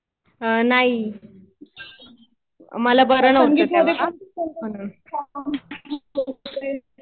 नाही.मला बर नव्हतं तेव्हा म्हणून.